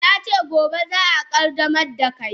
Na ce gobe za a qaddamar da kai.